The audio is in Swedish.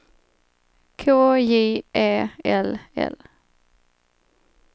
K J E L L